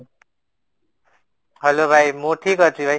hello ଭାଇ ମୁଁ ଠିକ ଅଛି ଭାଇ